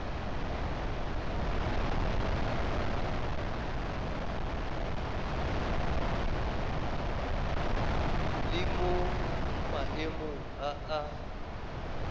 le mo maemong a a